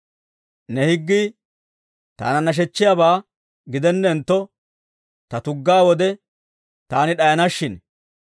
Ne higgii taana nashechchiyaabaa gidenentto, ta tuggaa wode taani d'ayana shin.